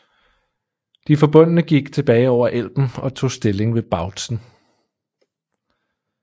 De forbundne gik tilbage over Elben og tog stilling ved Bautzen